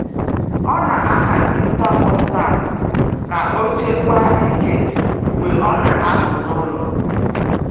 O na-ahazi thermostat ka o chekwaa ike mgbe ọ na-apụ n'ụlọ.